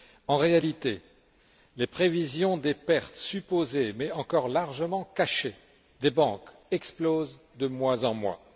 En réalité, les prévisions des pertes supposées, mais encore largement cachées, des banques explosent de mois en mois.